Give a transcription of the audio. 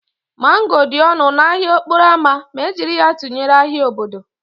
Mango dị ọnụ n'ahịa okporo ámá ma e jiri ya tụnyere ahịa obodo